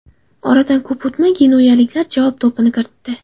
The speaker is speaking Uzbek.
Oradan ko‘p o‘tmay genuyaliklar javob to‘pini kiritdi.